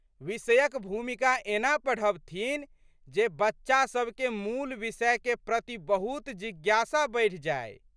विषयक भूमिका एना पढ़बथिन जे बच्चासबके मूल विषयके प्रति बहुत जिज्ञासा बढ़ि जाइ।